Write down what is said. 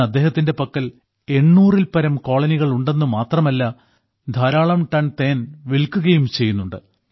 ഇന്ന് അദ്ദേഹത്തിന്റെ പക്കൽ 800 ൽപ്പരം കോളനികൾ ഉണ്ടെന്നു മാത്രമല്ല ധാരാളം ടൺ തേൻ വിൽക്കുകയും ചെയ്യുന്നുണ്ട്